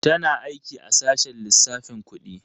Tana aiki a sashen lissafin kudi.